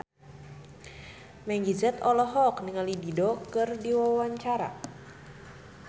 Meggie Z olohok ningali Dido keur diwawancara